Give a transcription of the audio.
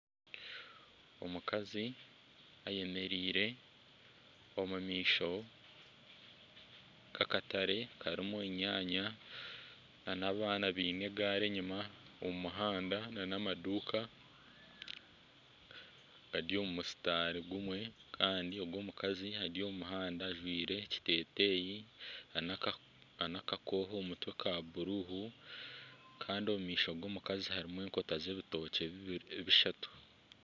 Omukazi ayemereire omu maisho gakatare karimu enyaanya nana abaana baine egari enyima omu muhanda nana amaduuka gari omu musitari gumwe kandi ogu omukazi ari omu muhanda ajwire ekiteteeyi nana akakohe omu mutwe ka bururu kandi omu maisho g'omukazi harimu enkota z'ebitikye bushatu.